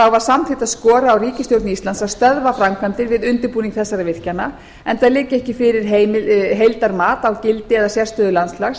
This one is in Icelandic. var samþykkt að skora á ríkisstjórn íslands að stöðva framkvæmdir við í óska og og undirbúning þessara virkjana enda liggi ekki fyrir heildarmat á gildi eða sérstöðu landslags